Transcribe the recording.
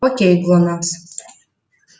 окей глонассс